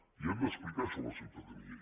i hem d’explicar això a la ciutadania